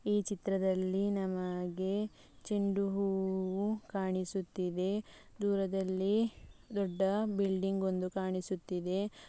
ಈ ಚಿತ್ರದಲ್ಲಿ ನಮಗೆ ಚಂಡು ಹೂವು ಕಾಣಿಸುತ್ತಿದೆ ದೂರದಲ್ಲಿ ದೊಡ್ಡ ಬಿಲ್ಡಿಂಗ್‌ ಒಂದು ಕಾಣಿಸುತ್ತಿದೆ.